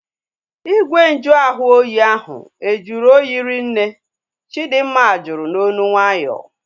Igwe nju ahụ oyi ahu e juru oyi ri nne? Chidinma jụrụ n'olu nwayọọ